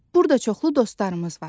Burda çoxlu dostlarımız var.